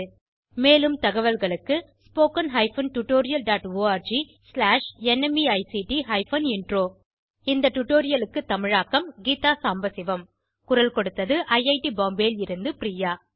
இந்த திட்டம் பற்றிய மேலதிக தகவல்கள் spoken hyphen tutorial dot org slash NMEICT hyphen intro ல் கிடைக்கும் இந்த டுடோரியலை தமிழாக்கம் கீதா சாம்பசிவம் குரல் கொடுத்தது ஐஐடி பாம்பேவில் இருந்து பிரியா